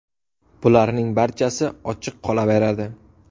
Bularning barchasi ochiq qolaveradi.